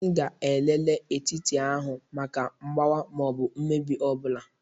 M ga-elele etiti ahụ maka mgbawa ma ọ bụ mmebi ọ bụla.